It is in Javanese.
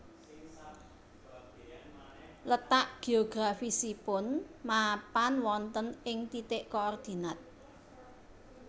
Letak geografisipun mapan wonten ing titik koordinat